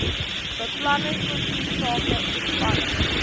beplanning kultuursake ontspanning